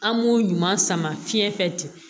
An b'o ɲuman sama fiɲɛ fɛ ten